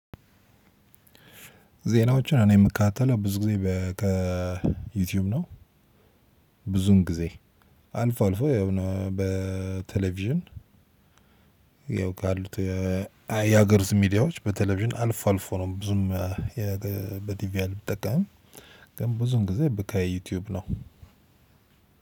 ዜናዎችን እኔ የምከታተለው ብዙ ጊዜ ከዩቲዩብ ነው። ብዙን ጊዜ አልፎ አልፎ ያው በቴሌቪዥን። ያው ካሉት የሀገር ውስጥ ሚዲያዎች በቴሌቪዥን አልፎ አልፎ ነው። ብዙም በቲቪ አልጠቀምም ብዙን ጊዜ ከ ዩቲዩብ ነው።